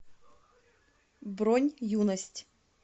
бронь юность